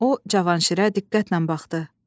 O Cavanşirə diqqətlə baxdı.